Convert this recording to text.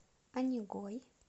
онегой